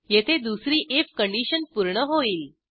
येथे दुसरी IF condition पूर्ण होईल